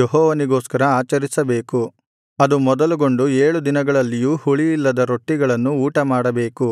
ಯೆಹೋವನಿಗೋಸ್ಕರ ಆಚರಿಸಬೇಕು ಅದು ಮೊದಲುಗೊಂಡು ಏಳು ದಿನಗಳಲ್ಲಿಯೂ ಹುಳಿಯಿಲ್ಲದ ರೊಟ್ಟಿಗಳನ್ನು ಊಟಮಾಡಬೇಕು